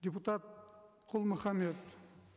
депутат құл мұхаммед